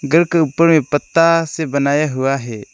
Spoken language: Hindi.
घर के ऊपर एक पत्ता से बनाया हुआ है।